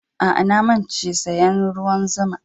Aa, na mance saya'n ruwan zuma'n.